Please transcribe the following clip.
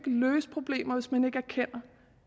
løse problemer hvis man ikke erkender